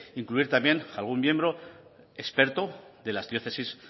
incluir también algún miembro experto de las diócesis